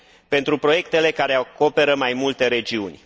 pentru proiectele care acoperă mai multe regiuni.